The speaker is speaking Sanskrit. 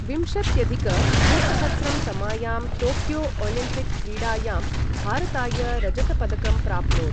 विंशत्यधिक द्विसहस्रं तमायां टोक्यो ओलिम्पिक् क्रीडायां भारताय रजतपदकम् प्राप्नोत्।